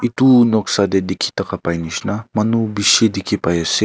etu noksa tey dikhi thaka pai nishina manu bishi dikhi pai ase.